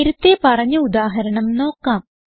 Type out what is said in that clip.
നേരത്തേ പറഞ്ഞ ഉദാഹരണം നോക്കാം